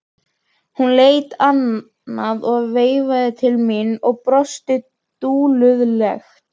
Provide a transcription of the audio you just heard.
Hún leit annað veifið til mín og brosti dulúðugt.